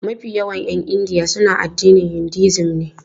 Mafi yawan 'yan India suna addinin Hinduism ne.